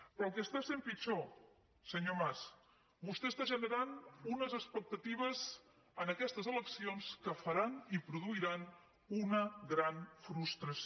però el que està sent pitjor senyor mas vostè està generant unes expectatives en aquestes eleccions que faran i produiran una gran frustració